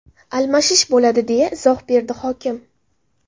Almashish bo‘ladi”, deya izoh berdi hokim.